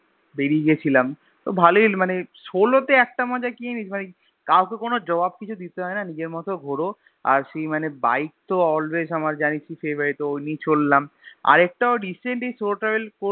বেরিয়ে গিয়েছিলাম তো ভালই মানে Solo তে একটা মজা কি জানিস মানে কাউকে কোনো জবাব কিছু দিতে হয় না নিজের মতো ঘুরো আর সেই বাইক তো Always আমার জানিশই Favourite ও নিয়া চললাম আরেকটা recent এই solo travel